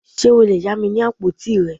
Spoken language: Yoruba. Ṣe o le ya mi ni apotí rẹ?